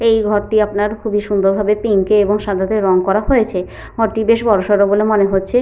এই ঘরটি আপনার খুব সুন্দর ভাবে পিঙ্ক -এ সাদাটে রং করা হয়েছে। ঘরটি বেশ বড় সরো বলে মনে হচ্ছে।